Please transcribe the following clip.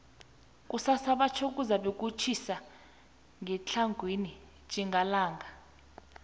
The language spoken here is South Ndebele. kusasa batjho kuzabe kutjhisa ngetlhagwini tjhingalanga